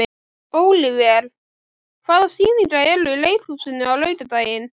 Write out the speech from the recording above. Ólíver, hvaða sýningar eru í leikhúsinu á laugardaginn?